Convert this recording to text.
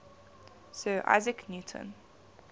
sir isaac newton